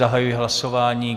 Zahajuji hlasování.